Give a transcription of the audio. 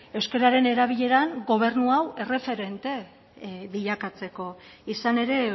euskararen erabileran gobernu hau erreferente bilakatzeko izan ere